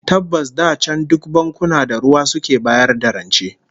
Tabbas da can duk bankuna da ruwa suke bayar da rance